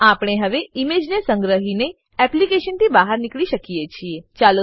આપણે હવે ઈમેજ સંગ્રહીને એપ્લીકેશનથી બહાર નીકળી શકીએ છીએ